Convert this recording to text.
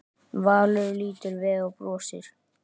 Valur lítur við og brosir.